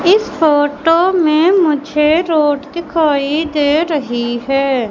इस फोटो में मुझे रोड दिखाइ दे रही है।